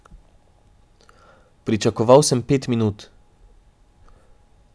Pričakoval sem pet minut.